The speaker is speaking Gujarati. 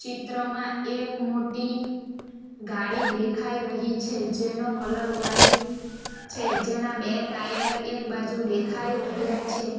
ચિત્રમાં એક મોટી ગાડી દેખાઈ રહી છે જેનો કલર વ્હાઈટ છે જેના બે ટાયર એક બાજુ દેખાઈ રહ્યા છે.